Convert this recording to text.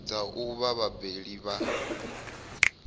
ḓaho u vha vhabebi vha